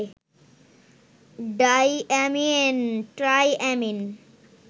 diamine, triamine